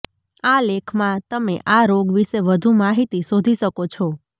આ લેખમાં તમે આ રોગ વિશે વધુ માહિતી શોધી શકો છો